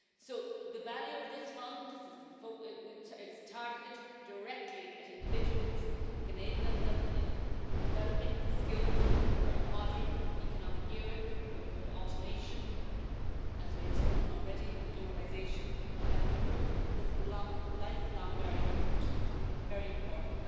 So the value of this Fund it is targeted directly at individuals, enabling them in developing skills for a modern economic era where we have automation, as we have spoken of already, and globalisation, and it will equip them with lifelong learning, which is becoming very important,